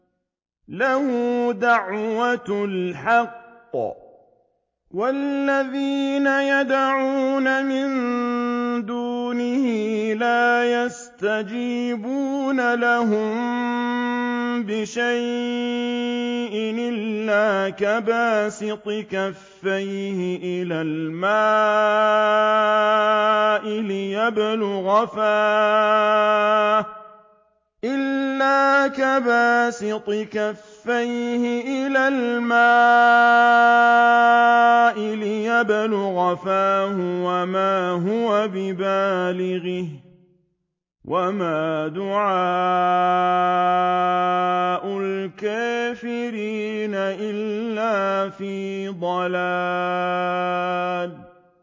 لَهُ دَعْوَةُ الْحَقِّ ۖ وَالَّذِينَ يَدْعُونَ مِن دُونِهِ لَا يَسْتَجِيبُونَ لَهُم بِشَيْءٍ إِلَّا كَبَاسِطِ كَفَّيْهِ إِلَى الْمَاءِ لِيَبْلُغَ فَاهُ وَمَا هُوَ بِبَالِغِهِ ۚ وَمَا دُعَاءُ الْكَافِرِينَ إِلَّا فِي ضَلَالٍ